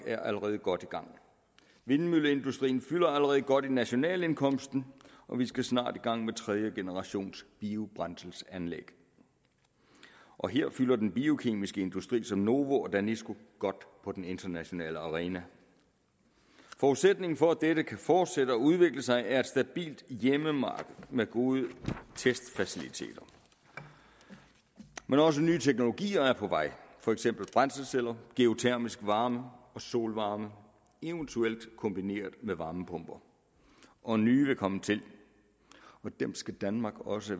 er allerede godt i gang vindmølleindustrien fylder allerede godt i nationalindkomsten og vi skal snart i gang med tredjegenerationsbiobrændselsanlæg og her fylder den biokemiske industri som novo og danisco godt på den internationale arena forudsætningen for at dette kan fortsætte og udvikle sig er et stabilt hjemmemarked med gode testfaciliteter men også nye teknologier er på vej for eksempel brændselsceller geotermisk varme og solvarme eventuelt kombineret med varmepumper og nye vil komme til dem skal danmark også